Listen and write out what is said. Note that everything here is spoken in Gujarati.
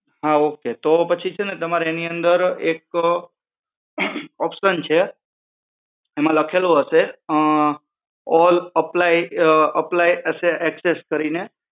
હા okay તો પછી છે ને તમારે એની અંદર એક option છે એમાં લખેલું હશે ઓલ apply હશે access કરીને